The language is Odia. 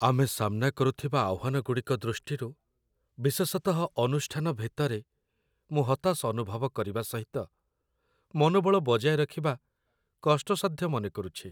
ଆମେ ସାମ୍ନା କରୁଥିବା ଆହ୍ୱାନଗୁଡ଼ିକ ଦୃଷ୍ଟିରୁ, ବିଶେଷତଃ ଅନୁଷ୍ଠାନ ଭିତରେ, ମୁଁ ହତାଶ ଅନୁଭବ କରିବା ସହିତ ମନୋବଳ ବଜାୟ ରଖିବା କଷ୍ଟସାଧ୍ୟ ମନେକରୁଛି।